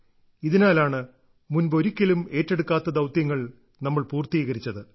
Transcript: ഇതിനാലാണ് മുമ്പൊരിക്കലും ഏറ്റെടുക്കാത്ത ദൌത്യങ്ങൾ നമ്മൾ പൂർത്തീകരിച്ചത്